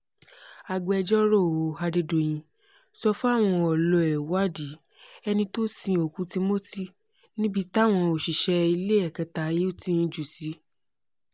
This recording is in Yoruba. agbẹjọ́rò adédọ̀yìn sọ fáwọn ọ̀lọ́ ẹ̀ wádìí ẹni tó sin òkú timothy níbi táwọn òṣìṣẹ́ iléẹ̀kẹta hilton jù ú sí